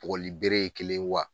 Bugɔlibere ye kelen wa ?